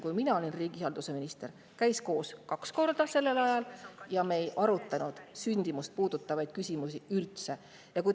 Sel ajal, kui mina riigihalduse minister olin, käis see valitsuskomisjon koos kaks korda ja sündimust puudutavaid küsimusi me üldse ei arutanud.